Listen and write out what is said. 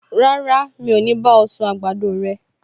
Rárá, mi ò ní bá ọ sun àgbàdo rẹ